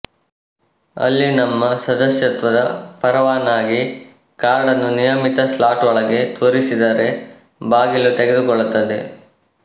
ಅಲ್ಲಿ ನಮ್ಮ ಸದಸ್ಯತ್ವದ ಪರವಾನಗಿ ಕಾರ್ಡ್ ನ್ನು ನಿಯಮಿತ ಸ್ಲಾಟ್ ಒಳಗೆ ತೂರಿಸಿದರೆ ಬಾಗಿಲು ತೆಗೆದುಕೊಳ್ಳುತ್ತದೆ